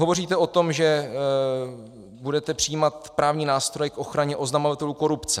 Hovoříte o tom, že budete přijímat právní nástroje k ochraně oznamovatelů korupce.